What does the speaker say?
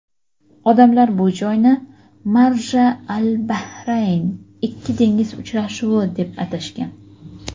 Odamlar bu joyni "Marja-al-bahrayn" — "Ikki dengiz uchrashuvi" deb atashgan.